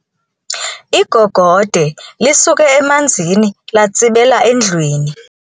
Igogode lisuke emanzini latsibela endlwini.